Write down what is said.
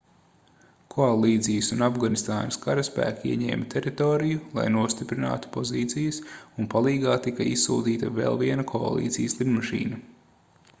koalīcijas un afganistānas karaspēki ieņēma teritoriju lai nostiprinātu pozīcijas un palīgā tika izsūtīta vēl viena koalīcijas lidmašīna